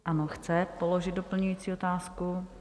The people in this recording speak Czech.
Ano, chce položit doplňující otázku.